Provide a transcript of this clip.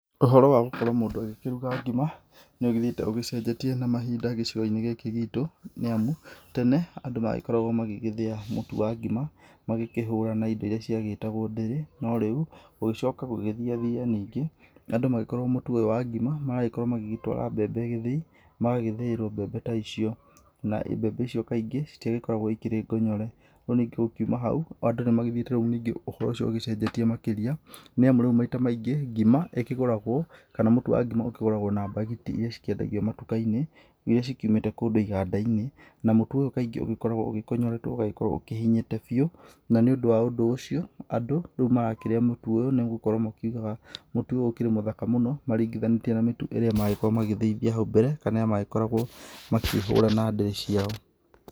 Ũhoro wa gũkorwo mũndũ akĩrũga ngĩma nĩũgĩthĩete ũgĩcenjetie na mahĩnda gĩcigo inĩ gĩkĩ gĩtũ nĩ amũ, tene andũ nĩ makoragwo magĩgĩthĩa mũtũ wa ngĩma magĩkĩhũra na indo iria ciagĩtagwo ndĩrĩ no rĩũ gũgĩcoka gũgĩthĩathĩa, nĩngĩ na andũ magĩkorwo mũtũ ũyũ wa ngĩma magagĩkorwo magĩtwara mbembe gĩthĩe magagĩthĩĩrwo mbembe ta icio na mbembe icio kaingĩ, citiakoragwo ikĩre gonyore no nĩngĩ ũkĩũma haũ andũ nĩmagĩthĩete nĩnge ũhoro ũcio ũgĩcenjetĩe makĩrĩa nĩ amũ rĩũ maĩta maĩngĩ ngĩma, ĩkĩgũragwo kana mũtũ wa ngĩma ũkĩgũragwo na bagiti iria ciendagĩo matukainĩ iria cikĩũmĩte kũndũ iganda inĩ, na mũtũ ũyũ kaĩngĩ nĩ ũkoragwo ũkonyoretwo na ũkĩhĩnyĩte bĩũ na nĩ ũndũ wa ũndũ ũcio andũ rĩũ nĩmarakĩrĩa mũtũ ũyũ nĩ gũkorwo makĩũgaga mũtũ ũyũ ũkĩrĩ wĩ mũthaka mũno makĩrigithania na mĩtũ ĩrĩa magĩthĩithagĩa haũ mbere kana magĩkoragwo makĩhũra na ndĩrĩ ciao.